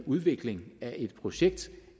udvikling af et projekt